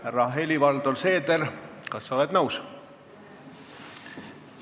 Härra Helir-Valdor Seeder, kas sa oled nõus?